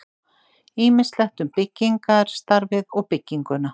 Ýmislegt um byggingarstarfið og bygginguna.